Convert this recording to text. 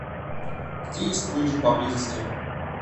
где есть лыжи поблизости